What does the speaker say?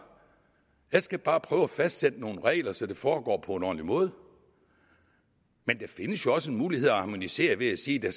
jeg skal bare prøve at fastsætte nogle regler så det foregår på en ordentlig måde men der findes jo også muligheder harmonisere ved at sige at